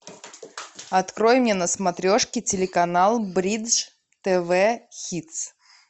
открой мне на смотрешке телеканал бридж тв хитс